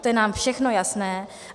To je nám všechno jasné.